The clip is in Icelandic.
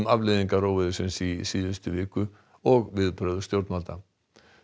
afleiðingar óveðursins í síðustu viku og viðbrögð stjórnvalda